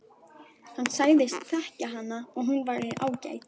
Hann sagðist þekkja hana og hún væri ágæt.